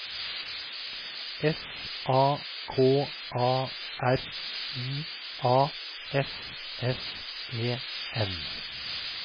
S A K A R I A S S E N